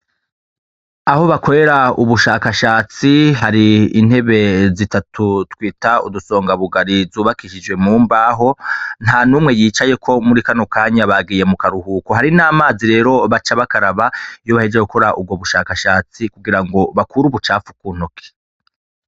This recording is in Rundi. Aho bakwera ubushakashatsi hari intebe zitatu twita udusonga bugari zubakishijwe mu mbaho nta n'umwe yicayeko muri kano kanya bagiye mu karuhuko hari n'amazi rero baca bakaraba iyo baheje gukora ubwo bushakashatsi kugira ngo bakure ubucapfu kuntoke.